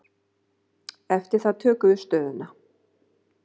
Eftir það tökum við stöðuna.